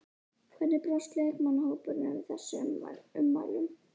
Hvernig brást leikmannahópurinn við þessum ummælum?